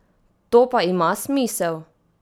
To pa ima smisel?